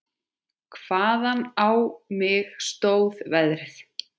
Hvaðan á mig stóð veðrið.